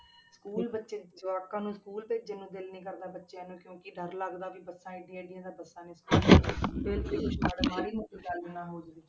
school ਬੱਚੇ ਜਵਾਕਾਂ ਨੂੰ ਸਕੂਲ ਭੇਜਣ ਨੂੰ ਦਿਲ ਨੀ ਕਰਦਾ ਬੱਚਿਆਂ ਨੂੰ ਕਿਉਂਕਿ ਡਰ ਲੱਗਦਾ ਵੀ ਬੱਸਾਂ ਇੱਡੀਆਂ ਇੱਡੀਆਂ ਤਾਂ ਬੱਸਾਂ ਨੇ ਮਾੜੀ ਮੋਟੀ ਗੱਲ ਨਾ ਹੋ ਜਾਵੇ।